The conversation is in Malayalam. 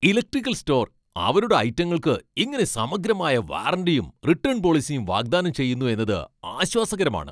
ഇലക്ട്രിക്കൽ സ്റ്റോർ അവരുടെ ഐറ്റങ്ങൾക്ക് ഇങ്ങനെ സമഗ്രമായ വാറന്റിയും റിട്ടേൺ പോളിസിയും വാഗ്ദാനം ചെയ്യുന്നു എന്നത് ആശ്വാസകരമാണ്.